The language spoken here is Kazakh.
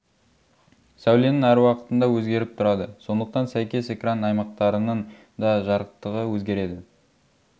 сәуленің әр уақытта өзгеріп тұрады сондықтан сәйкес экран аймақтарының да жарықтығы өзгереді